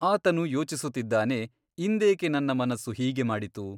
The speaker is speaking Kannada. ಆತನು ಯೋಚಿಸುತ್ತಿದ್ದಾನೆ ಇಂದೇಕೆ ನನ್ನ ಮನಸ್ಸು ಹೀಗೆ ಮಾಡಿತು ?